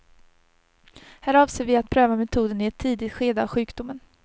Här avser vi att pröva metoden i ett tidigt skede av sjukdomen.